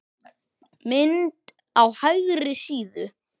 Mynd á hægri síðu.